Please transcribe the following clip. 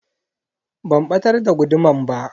Ban batar da guduman ba.